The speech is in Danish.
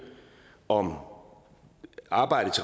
om arbejdet